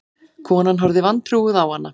Konan horfði vantrúuð á hana.